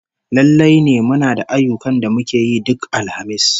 Lallai ne muna da ayyukan da muke yi duk Alhamis